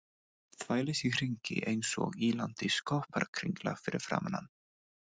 Þvælist í hringi einsog ýlandi skopparakringla fyrir framan hann.